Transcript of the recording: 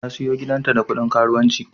Ta siyo gidanta da kudin karuwanci.